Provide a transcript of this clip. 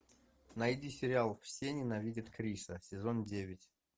найди сериал все ненавидят криса сезон девять